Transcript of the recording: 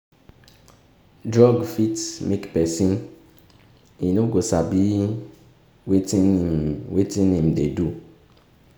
drug fit make pesin e no go sabi wetin him wetin him dey do.